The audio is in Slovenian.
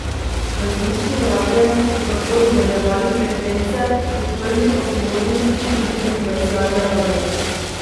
Različnim radiem so tako dodeljevali frekvence, odprli pa so možnosti tudi za komercialne radie.